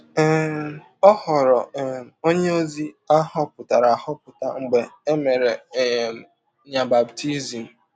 um Ọ ghọrọ um ọnye ozi a họpụtara ahọpụta mgbe e mere um ya baptism